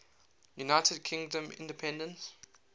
united kingdom independence